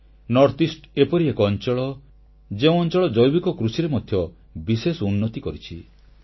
ଉତ୍ତରପୂର୍ବାଞ୍ଚଳ ଏପରି ଏକ ସ୍ଥାନ ଯେଉଁ ଅଂଚଳ ଜୈବିକ କୃଷିରେ ମଧ୍ୟ ବିଶେଷ ଉନ୍ନତି କରିଛି